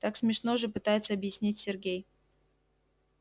так смешно же пытается объяснить сергей